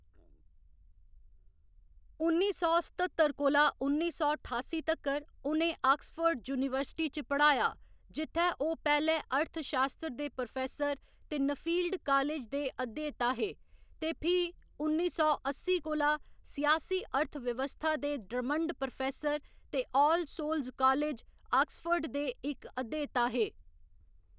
उन्नी सौ सत्ततर कोला उन्नी सौ ठासी तक्कर, उ'नें आक्सफोर्ड यूनीवर्सिटी च पढ़ाया, जि'त्थै ओह्‌‌ पैह्‌लें अर्थशास्त्र दे प्रोफेसर ते नफील्ड कालेज दे अध्येता हे, ते फ्ही उन्नी सौ अस्सी कोला सियासी अर्थव्यवस्था दे ड्रमंड प्रोफेसर ते आल सोल्स कालेज, आक्सफोर्ड दे इक अध्येता हे।